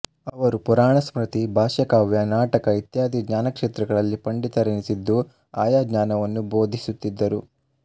ಅವರು ಪುರಾಣ ಸ್ಮೃತಿ ಭಾಷ್ಯ ಕಾವ್ಯ ನಾಟಕ ಇತ್ಯಾದಿ ಜ್ಞಾನಕ್ಷೇತ್ರಗಳಲ್ಲಿ ಪಂಡಿತರೆನಿಸಿದ್ದು ಆಯಾ ಜ್ಞಾನವನ್ನು ಬೋಧಿಸುತ್ತಿದ್ದರು